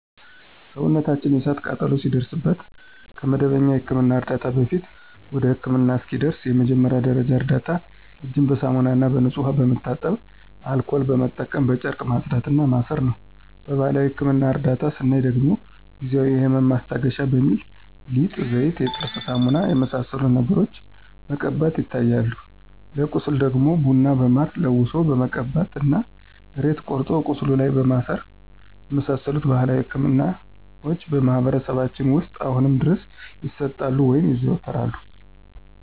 ሰውነታችን የእሳት ቃጠሎ ሲደርስበት ከመደበኛ የሕክምና ዕርዳታ በፊት፣ ወይም ህክምና እስኪደርሱ የመጀመሪያ ደረጃ እርዳታ እጅን በሳሙናና በንጹህ ውሃ በመታጠብ አልኮል በመጠቀም በጨርቅ ማጽዳት እና ማሰር ነው። በባህላዊ የህክምና እርዳታ ስናይ ደግሞ ጊዜአዊ የህመም ማስታገሻ በሚል ሊጥ፣ ዘይት፣ የጥርስ ሳሙና የመሳሰሉትን ነገሮችን መቀባቶች ይታያሉ። ለቁስል ደግሞ ቡና በማር ለውሶ መቀባት እና ሬት ቆርጦ ቁስሉ ላይ ማሰር የመሳሰሉት ባህላዊ ህክምናዎች በማህበረሰባችን ውስጥ አሁንም ድረስ ይሰጣሉ (ይዘወተራሉ)።